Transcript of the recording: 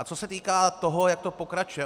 A co se týká toho, jak to pokračuje.